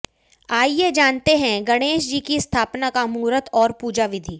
आइए जानते हैं गणेश जी की स्थापना का मुहूर्त और पूजा विधि